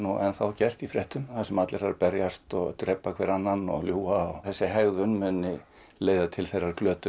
enn er gert í fréttum þar sem allir eru að berjast og drepa hver annan og ljúga og þessi hegðun muni leiða til þeirra glötunar